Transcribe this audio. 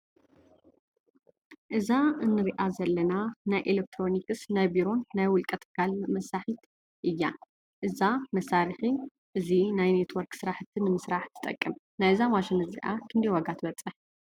እዛ እንሪኣ እንሪኣ ዘለና ናይ ኤሌክትሮኒስ ናይ ቢሮን ናይ ውልቀ ትካላት መሳሒት እያ። እዛ መሳሪሒ እዚ ናይ ኔትዎርክ ስራሕቲ ንምስራሕ ትጠቅም። ናይዛ ማሽን እዚኣ ክንዳይ ዋጋ ትበፅሕ?